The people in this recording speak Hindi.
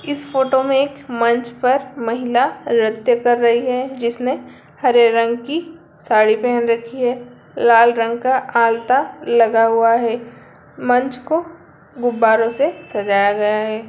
इस फोटो में एक मंच पर महिला नृत्य कर रही है जिसने हरे रंग की साड़ी पहन रखी है लाल रंग का आलता लगा हुआ है मंच को गुब्बारों से सजाया गया है।